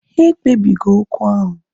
Ha ekpebi go okwu ahu